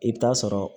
I bɛ taa sɔrɔ